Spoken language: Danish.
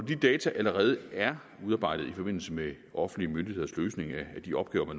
de data allerede er udarbejdet i forbindelse med offentlige myndigheders løsning af de opgaver